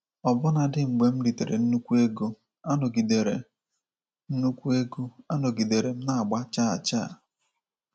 Ọbụna dị mgbe m ritere nnukwu ego, anọgidere nnukwu ego, anọgidere m na-agba chaa chaa.